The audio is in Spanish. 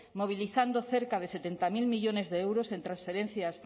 movilizando cerca de setenta mil millónes de euros en transferencias